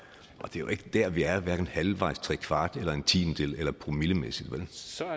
jo ikke der vi er hverken halvvejs trekvart en tiendedel eller promillemæssigt vel